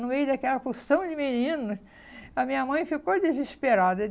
No meio daquela porção de meninos, a minha mãe ficou desesperada.